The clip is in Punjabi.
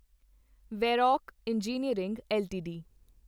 Varroc engineering LTD